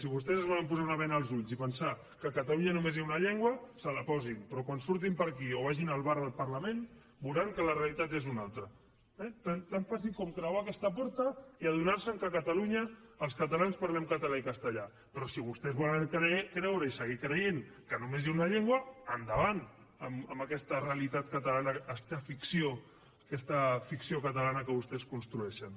si vostès es volen posar una bena als ulls i pensar que a catalunya només hi ha una llengua se la posin però quan surtin per aquí o vagin al bar del parlament veuran que la realitat és una altra eh tan fàcil com creuar aquesta porta i adonar se que a catalunya els catalans parlem català i castellà però si vostès volen creure i seguir creient que només hi ha una llengua endavant amb aquesta realitat catalana fins i tot ficció aquesta ficció catalana que vostès construeixen